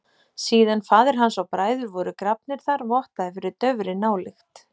Síðan faðir hans og bræður voru grafnir þar vottaði fyrir daufri nálykt.